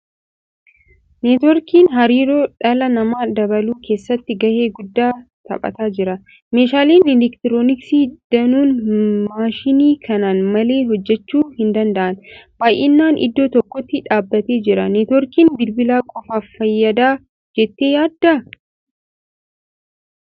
Neetwoorkiin hariiroo dhala namaa dabaluu keessatti gahee guddaa taphataa jira. Meeshaaleen elektirooniksii danuun maashinii kanaan malee hojjechuu hin danda'an. Baay'inaan iddoo tokkotti dhaabbatee jira. Neetwoorkiin bilbila qofaaf fayyada jettee yaaddaa?